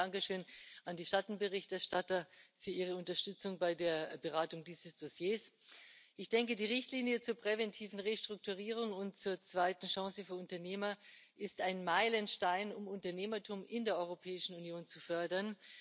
Zunächst ein Dankeschön an die Schattenberichterstatter für ihre Unterstützung bei der Beratung dieses Dossiers. Die Richtlinie zur präventiven Restrukturierung und zur zweiten Chance für Unternehmer ist ein Meilenstein, um Unternehmertum in der Europäischen Union zu fördern.